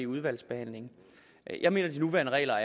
udvalgsbehandlingen jeg mener at de nuværende regler